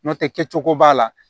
N'o tɛ kɛ cogo b'a la